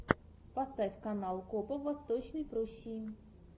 поставь канал копа в восточной пруссии